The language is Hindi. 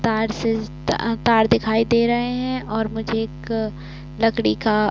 तार से तार दिखाई दे रहे हैं और मुझे एक लकड़ी का --